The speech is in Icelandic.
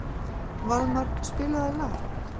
Valmar, spilaðu lag.